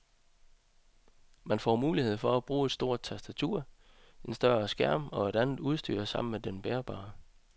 Man får mulighed for at bruge stort tastatur, en større skærm og andet udstyr sammen med den bærbare.